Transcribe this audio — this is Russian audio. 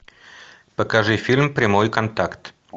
покажи фильм прямой контакт